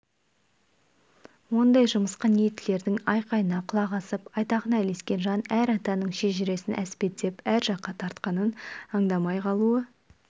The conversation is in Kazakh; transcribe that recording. ондай жымысқы ниеттілердің айқайына құлақ асып айтағына ілескен жан әр атаның шежіресін әспеттеп әр жаққа тартқанын аңдамай қалуы